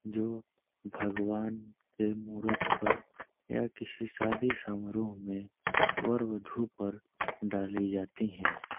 जो भगवान के मूरत पर या किसी शादी समारोह में वर वधु पर डाली जाती हैं।